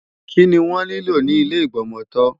Kí ni wọ́n nílò ni ile Ìgbọmọtọ́?